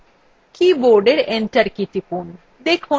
keyবোর্ডএর enter key টিপুন